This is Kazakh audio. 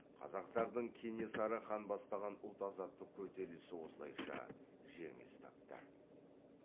қазақтардың кенесары хан бастаған ұлт азаттық көтерілісі осылайша жеңіліс тапты